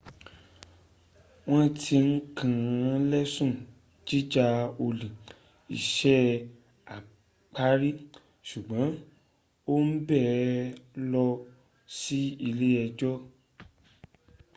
wọn ti kàn lẹ́sùn jíja olè iṣé agbárí ṣùgbọ́n wọn o gbé lọ sí ile ẹjọ́